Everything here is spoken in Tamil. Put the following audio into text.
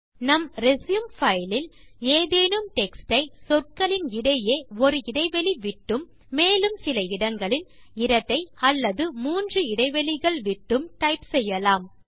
நம் ரெச்யூம் பைல் இல் ஏதேனும் டெக்ஸ்ட் யை சொற்களின் இடையே ஒரு இடைவெளி விட்டும் மேலும் சில இடங்களில் இரட்டை அல்லது மூன்று இடைவெளிகள் விட்டும் டைப் செய்யலாம்